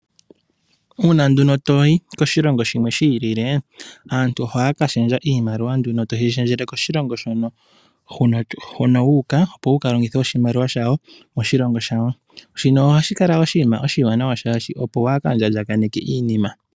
Uuna nduno toyi koshilongo shimwe shi ilile, aantu ohaya ka shendja iimaliwa nduno toyi shendjele koshilongo hono u uka, opo wu kalongithe oshimaliwa shawo moshilongo shawo. Shino ohashi kala oshinima oshiwanawa shaashi opo waaka lya lyakaneke iinima.